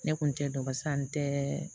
Ne kun tɛ dɔ barisa n tɛ